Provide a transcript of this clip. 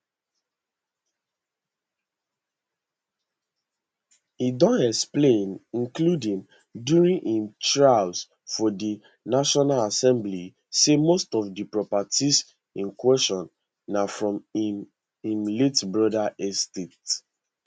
e don explain including during im trial for di national assembly say most of di properties in question na from im im late brother estate